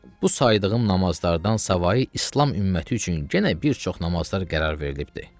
Bu saydığım namazlardan savayı İslam ümməti üçün yenə bir çox namazlar qərar verilibdir.